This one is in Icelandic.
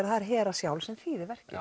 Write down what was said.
það er Hera sjálf sem þýðir verkið